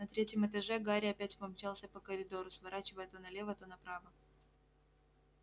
на третьем этаже гарри опять помчался по коридору сворачивая то налево то направо